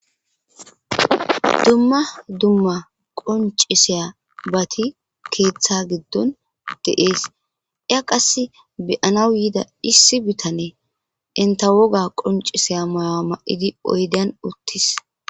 Dumma dumma qonc'isiyabati keeththa giddon de7ees.iya qassi be7anaw yida issi bitaney enta woga qonc'issiya mayo mayidi uttides.